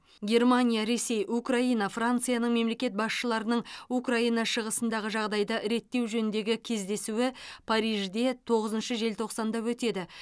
германия ресей украина францияның мемлекет басшыларының украина шығысындағы жағдайды реттеу жөніндегі кездесуі парижде тоғызыншы желтоқсанда өтеді